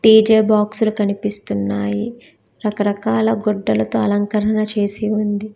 DJ బాక్స్లు కనిపిస్తున్నాయి రకరకాల గుడ్డలతో అలంకరణ చేసి ఉంది.